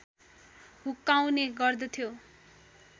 हुक्काउने गर्दथ्यो